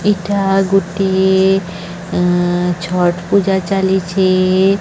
ଏଇଟା ଗୋଟିଏ ଏ ଛଟ୍ ପୂଜା ଚାଲିଛି --